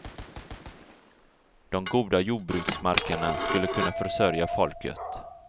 De goda jordbruksmarkerna skulle kunna försörja folket.